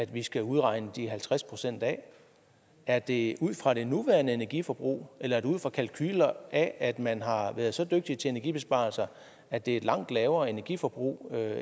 vi skal udregne de halvtreds procent af er det ud fra det nuværende energiforbrug eller er det ud fra kalkuler af at man har været så dygtig til energibesparelser at det er et langt lavere energiforbrug